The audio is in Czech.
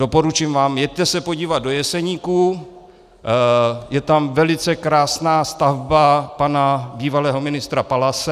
Doporučím vám, jeďte se podívat do Jeseníků, je tam velice krásná stavba pana bývalého ministra Palase.